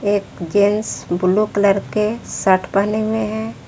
एक gents blue colour के shirt पहने हुए हैं।